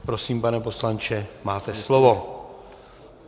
Prosím, pane poslanče, máte slovo.